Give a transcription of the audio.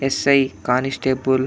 Yes. I constable --